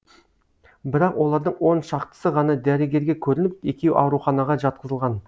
бірақ олардың он шақтысы ғана дәрігерге көрініп екеуі ауруханаға жатқызылған